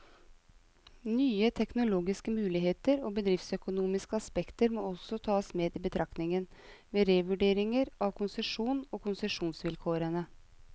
Nye teknologiske muligheter og bedriftsøkonomiske aspekter må også tas med i betraktningen, ved revurdering av konsesjonen og konsesjonsvilkårene.